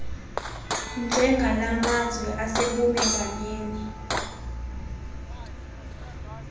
njengala mazwe asebumelwaneni